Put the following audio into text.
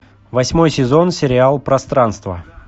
восьмой сезон сериал пространство